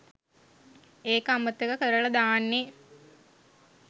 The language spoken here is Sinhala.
ඒක අමතක කරලා දාන්නේ.